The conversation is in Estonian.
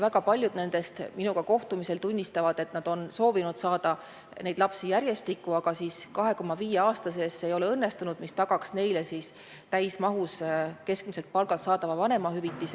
Väga paljud on minuga kohtumisel tunnistanud, et nad on soovinud saada need lapsed järjestikku, aga 2,5 aasta pikkuse vahemiku kehtides see ei ole õnnestunud – see ei tagaks neile täismahus keskmiselt palgalt saadavat vanemahüvitist.